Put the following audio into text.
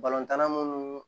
tan na munnu